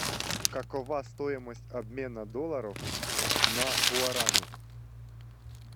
какова стоимость обмена долларов на гуарани